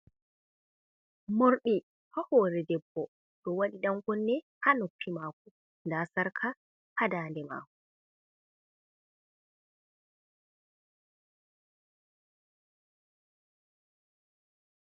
Morɗi hahore debbo, ɗo waɗi ɗankunne ha noffi mako, nda sarka ha dade mako.